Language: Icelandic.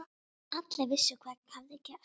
Allir vissu hvað hafði gerst.